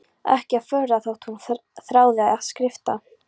Ekki að furða þótt hún þráði að skrifta.